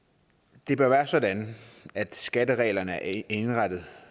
det bør være sådan at skattereglerne er indrettet